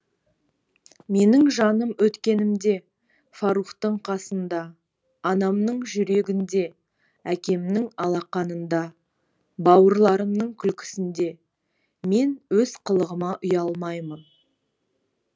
менің жаным өткенімде фарухтың қасында анамның жүрегінде әкемнің алақанында бауырларымның күлкісінде мен өз қылығыма ұялмаймын